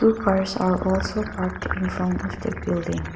cars are also parked in front of the building.